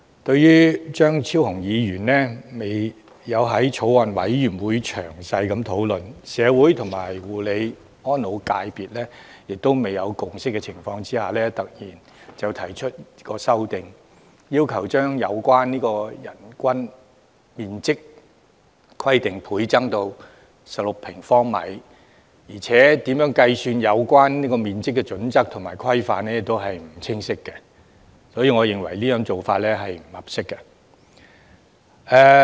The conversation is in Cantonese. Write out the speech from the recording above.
對於張超雄議員在未經法案委員會詳細討論、而在社會與護理安老業界亦未有共識的情況下，突然提出修正案，要求將有關人均樓面面積規定倍增至16平方米，而且如何計算有關面積的準則和規範亦不清晰，所以我認為這種做法並不合適。